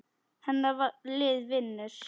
Hennar lið vinnur.